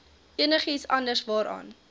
enigiets anders waaraan